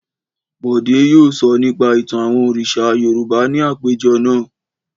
Bọ̀dé yóò sọ nípa ìtàn àwọn òrìṣà Yorùbá ní àpéjọ náà.